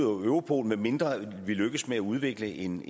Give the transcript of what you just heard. ud af europol medmindre vi lykkes med at udvikle en